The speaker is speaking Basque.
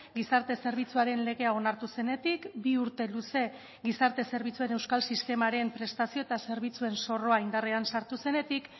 gizarte zerbitzuaren legea onartu zenetik bi urte luze gizarte zerbitzuen euskal sistemaren prestazio eta zerbitzuen zorroa indarrean sartu zenetik